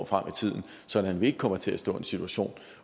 frem i tiden sådan at vi ikke kommer til at stå i en situation